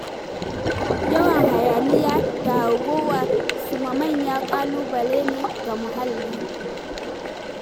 Yawan hayaniya da hargowa su ma manyan ƙalubale ne ga muhalli.